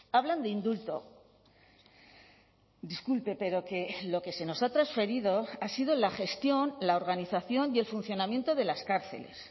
hablan de indulto disculpe pero que lo que se nos ha transferido ha sido la gestión la organización y el funcionamiento de las cárceles